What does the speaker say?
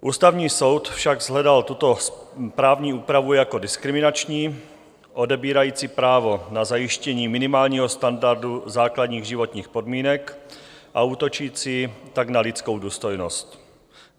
Ústavní soud však shledal tuto právní úpravu jako diskriminační, odebírající právo na zajištění minimálního standardu základních životních podmínek, a útočící tak na lidskou důstojnost.